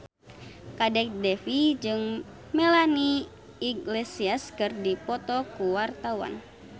Kadek Devi jeung Melanie Iglesias keur dipoto ku wartawan